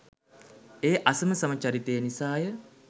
ඒ අසමසම චරිතය නිසාය.